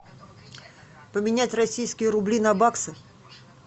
поменять российские рубли на баксы